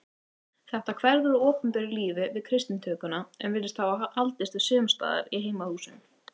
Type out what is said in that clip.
Þetta hverfur úr opinberu lífi við kristnitökuna en virðist hafa haldist við sumstaðar í heimahúsum.